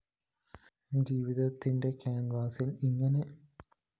ജീവിതത്തിന്റെ ക്യാന്‍വാസില്‍ ഇങ്ങനെ തിക്തമായ നിറങ്ങളുടെ സങ്കലനവുമുണ്ടോ